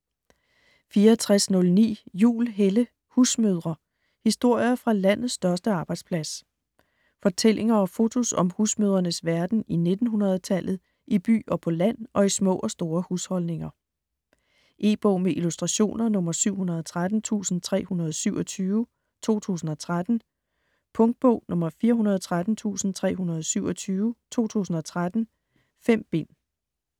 64.09 Juhl, Helle: Husmødre: historier fra landets største arbejdsplads Fortællinger og fotos om husmødrenes verden i 1900-tallet - i by og på land og i små og store husholdninger. E-bog med illustrationer 713327 2013. Punktbog 413327 2013. 5 bind.